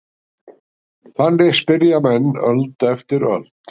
Þannig spyrja menn öld eftir öld.